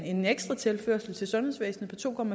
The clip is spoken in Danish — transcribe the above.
en ekstra tilførsel til sundhedsvæsenet på to